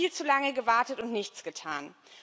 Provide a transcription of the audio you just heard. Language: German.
Wir haben viel zu lange gewartet und nichts getan.